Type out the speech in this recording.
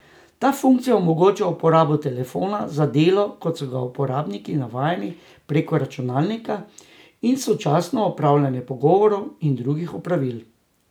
Ta funkcija omogoča uporabo telefona za delo, kot so ga uporabniki navajeni preko računalnika, in sočasno opravljanje pogovorov in drugih opravil.